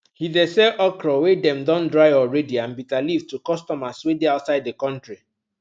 he de sell okra wey dem don dry already and bitterleaf to customers wey dey outside the country